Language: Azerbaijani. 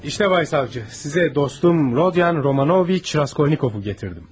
İşte Bay Savcı, sizə dostum Rodion Romanoviç Raskolnikovu gətirdim.